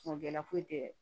Kungo kɛla foyi tɛ